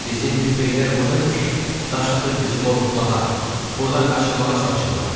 Bizim tüfeylilər burdaymış ki, daş atıb bizi qorxutmağa, burdan qaçırmağa çalışırlar.